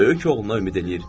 Böyük oğluna ümid eləyir.